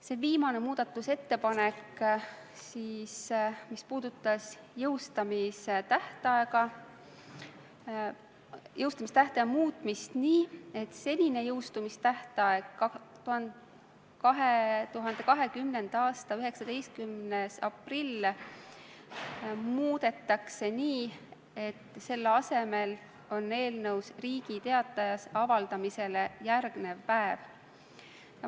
Selle viimase muudatusettepanekuga muudetakse jõustamistähtaega nii, et senine jõustamistähtaeg, 2020. aasta 19. aprill, asendatakse eelnõus Riigi Teatajas avaldamisele järgneva päevaga.